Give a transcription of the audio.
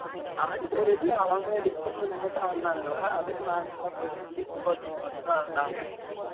auditorium ல அவங்க department மட்டும் ஆடுனாங்க டா அதுக்கும் நாங்க லா போல cs department மட்டும் தான் ஆடுனாங்க